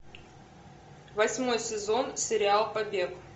восьмой сезон сериал побег